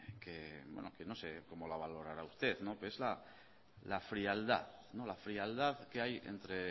que no sé como la valorará usted que es la frialdad que